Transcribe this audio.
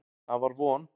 Það var von.